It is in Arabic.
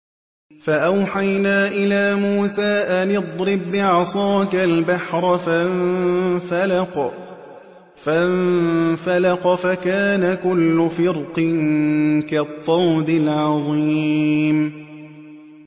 فَأَوْحَيْنَا إِلَىٰ مُوسَىٰ أَنِ اضْرِب بِّعَصَاكَ الْبَحْرَ ۖ فَانفَلَقَ فَكَانَ كُلُّ فِرْقٍ كَالطَّوْدِ الْعَظِيمِ